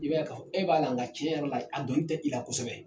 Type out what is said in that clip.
I b'a ye k'a fɔ e b'a la nka tiɲɛyɛrɛ la a dɔnni tɛ i la kosɛbɛ.